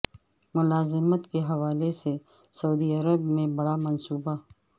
ملازمت کے حوالے سے سعودی عرب میں بڑا منصوبہ